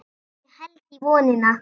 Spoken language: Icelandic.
Ég held í vonina.